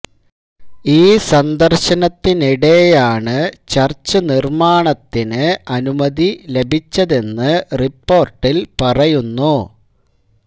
ഈ സന്ദര്ശനത്തിനിടെയാണ് ചര്ച്ച് നിര്മാണത്തിന് അനുമതി ലഭിച്ചതെന്ന് റിപ്പോര്ട്ടില് പറയുന്നു